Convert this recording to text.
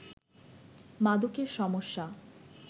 মাদকের সমস্যা